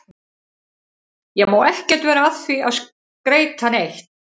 Ég má ekkert vera að því að skreyta neitt.